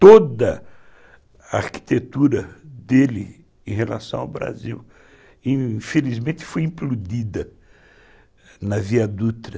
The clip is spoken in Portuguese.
Toda a arquitetura dele em relação ao Brasil, infelizmente, foi implodida na Via Dutra.